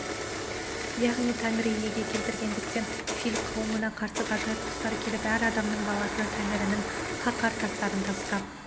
яғни тәңірі иеге келтіргендіктен филь қауымына қарсы ғажайып құстар келіп әр адамның баласына тәңірінің қаһар тастарын тастап